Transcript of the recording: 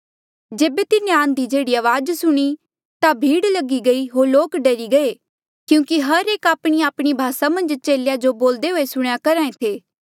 जेबे तिन्हें आंधी जेहड़ी अवाज सुणी ता भीड़ लगी गई होर लोक डरी गये क्यूंकि हर आपणीआपणी भासा मन्झ चेलेया जो बोलदे हुए सुणेया करहा था